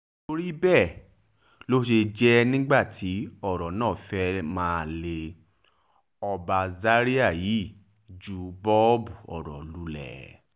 nítorí bẹ́ẹ̀ ló ṣe jẹ́ nígbà tí ọ̀rọ̀ náà fẹ́ẹ́ máa lé ọba zaria yìí jù bọbu ọ̀rọ̀ lulẹ̀